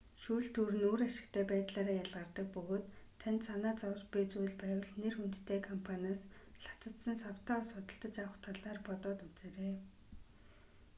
шүүлтүүр нь үр ашигтай байдлаараа ялгардаг бөгөөд танд санаа зовж буй зүйл байвал нэр хүндтэй компаниас лацадсан савтай ус худалдаж авах талаар бодоод үзээрэй